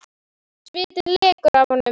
Svitinn lekur af honum.